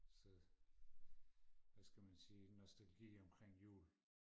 så hvad skal man sige nostalgi omkring jul